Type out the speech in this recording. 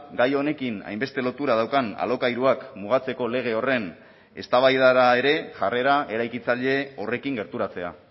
gai honekin hainbeste lotura daukan alokairuak mugatzeko lege horren eztabaidara ere jarrera eraikitzaile horrekin gerturatzea